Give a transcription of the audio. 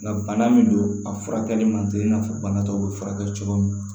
Nka bana min don a furakɛli man teli i n'a fɔ bana tɔw bɛ furakɛ cogo min